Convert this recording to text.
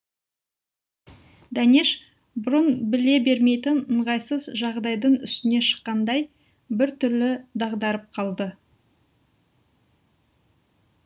дәнеш бұрын біле бермейтін ыңғайсыз жағдайдың үстіне шыққандай бір түрлі дағдарып қалды